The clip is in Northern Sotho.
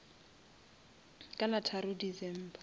ka la tharo december